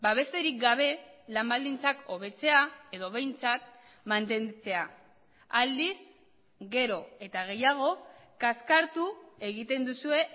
besterik gabe lan baldintzak hobetzea edo behintzat mantentzea aldiz gero eta gehiago kaskartu egiten duzue